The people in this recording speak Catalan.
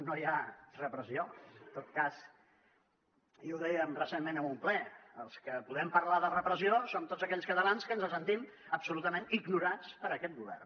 no hi ha repressió en tot cas i ho dèiem recentment en un ple els que podem parlar de repressió som tots aquells catalans que ens sentim absolutament ignorats per aquest govern